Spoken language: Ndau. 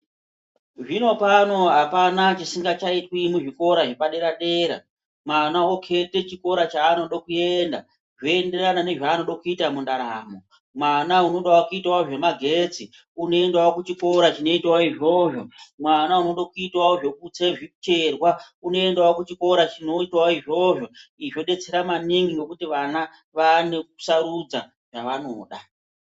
Zvinopano apana chisingachaitwi muzvikora zvepadera dera mwana okete chikora chanoda kuenda zvoenderana nezvanoda kuita mundaramo mwana unodawo kuita nezvemagetsi unoendawo kuchikora chinoita izvozvo, mwana unoda kuitawo zvekutse zvitserwa unoendawo kuchikora chinoitwa izvozvo. Izvi zvodetsera maningi nokuti vana vanosarudza zvavanoda.